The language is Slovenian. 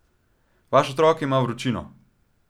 Vaš otrok ima vročino.